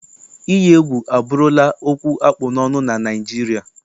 Iyi egwu abụrụla okwu akpụ n'ọnụ na Naịjirịa.